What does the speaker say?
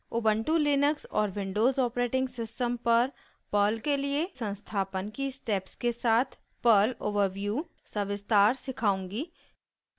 * Ubuntu Linux और Windows operating system पर Perl के लिए संस्थापन की स्टेप्स के साथ पर्ल ओवरव्यू सविस्तार सिखाऊँगी